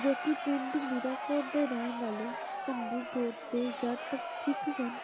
ਜੋ ਕਿ ਪਿੰਡ ਮੀਰਾਂਕੋਟ ਦੇ ਰਹਿਣ ਵਾਲੇ ਭੰਗੂ ਗੋਤ ਦੇ ਜੱਟ ਸਿੱਖ ਸਨ।